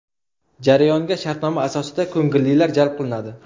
Jarayonga shartnoma asosida ko‘ngillilar jalb qilinadi.